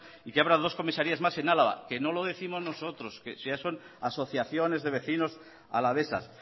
y que abra dos comisarías más en álava que no lo décimos nosotros son asociaciones de vecinos alavesas